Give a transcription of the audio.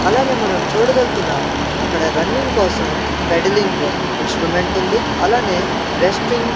అలానే మనం చూడగల్గుతున్నాం అక్కడ రన్నింగ్ కోసం పెడలింగ్ ఇన్స్ట్రుమెంట్ ఉంది అలానే రెస్టింగ్ --